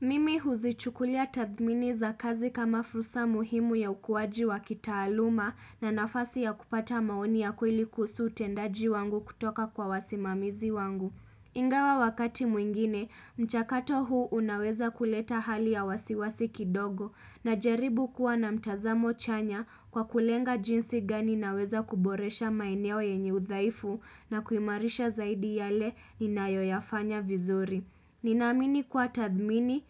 Mimi huzichukulia tathmini za kazi kama fursa muhimu ya ukuaji wa kitaaluma na nafasi ya kupata maoni ya kweli kuhusu utendaji wangu kutoka kwa wasimamizi wangu. Ingawa wakati mwingine, mchakato huu unaweza kuleta hali ya wasiwasi kidogo najaribu kuwa na mtazamo chanya kwa kulenga jinsi gani naweza kuboresha maeneo yenye udhaifu na kuimarisha zaidi yale ninayoyafanya vizuri. Ninaamini kuwa tathmini